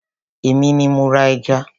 èmi ni mo ra ẹja.